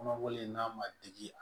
Kɔnɔbɔlen n'a ma digi a